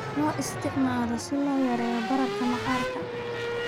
Loo isticmaalo si loo yareeyo bararka maqaarka.